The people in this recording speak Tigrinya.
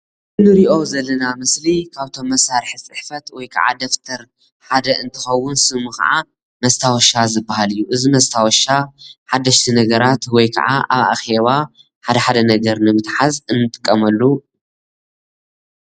ንርኦ ዘለና ምስሊ ካብቶም መሳሪሒ ፅሕፈት ወይከዓ ደብተር ሓደ እንትከውን ስሙ ከዓ መስታወሻ ዝባሃል እዩ። እዚ መስታወሻ ሓደሽቲ ነገራት ወይ ከዓ ኣብ ኣኼባ ሓደሓደ ነገር ንምትሓዝ እንጥቀመሉ።